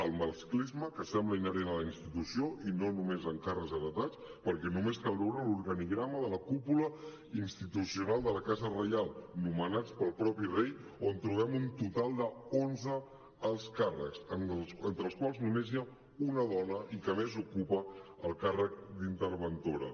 el masclisme que sembla inherent a la institució i no només amb càrrecs heretats perquè només cal veure l’organigrama de la cúpula institucional de la casa reial nomenats pel mateix rei on trobem un total d’onze alts càrrecs entre els quals només hi ha una dona i que a més ocupa el càrrec d’interventora